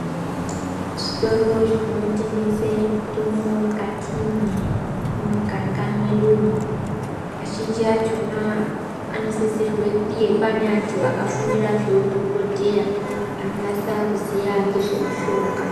Zvitoro zvinotengesa mitombo mukati memuganga medumo azhinji achona anosisirwa kunge pane antu akafundira zvehudhokodheya anonasa kuziya nezvemushonga.